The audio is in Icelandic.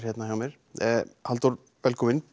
hér hjá mér Halldór velkominn